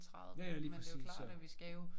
Ja ja lige præcis så